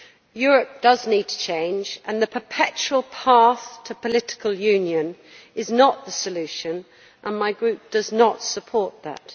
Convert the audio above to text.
Europe does need to change, and the perpetual path to political Union is not the solution, and my group does not support this.